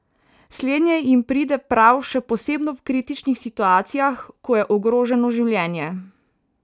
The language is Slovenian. Slednje jim pride prav še posebno v kritičnih situacijah, ko je ogroženo življenje.